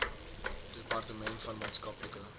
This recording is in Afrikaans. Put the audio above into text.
departement van maatskaplike